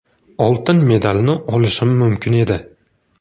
Oltin medalni olishim mumkin edi.